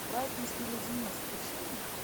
брайтонский леденец включи мне